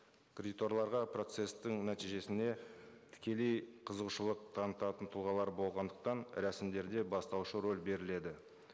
кредиторларға процесстің нәтижесіне тікелей қызығушылық танытатын тұлғалар болғандықтан рәсімдерде бастаушы рөл беріледі